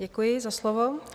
Děkuji za slovo.